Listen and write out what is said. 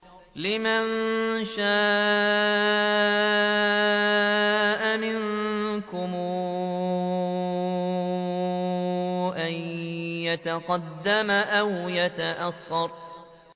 لِمَن شَاءَ مِنكُمْ أَن يَتَقَدَّمَ أَوْ يَتَأَخَّرَ